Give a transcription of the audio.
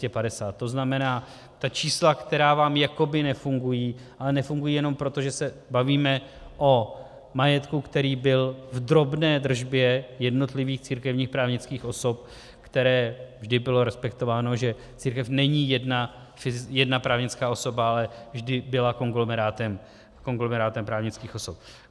To znamená, ta čísla, která vám jakoby nefungují, ale nefungují jenom proto, že se bavíme o majetku, který byl v drobné držbě jednotlivých církevních právnických osob, které... vždy bylo respektováno, že církev není jedna právnická osoba, ale vždy byly konglomerátem právnických osob.